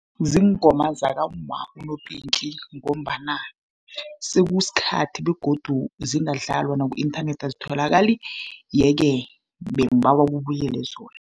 Ziingoma zakamma uNoPinky, ngombana sekusikhathi begodu zingadlalwa, naku-inthanethi azitholakali. Ye-ke bengibawa kubuyele zona.